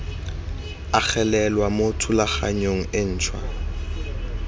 agelelwa mo thulaganyong e ntšhwa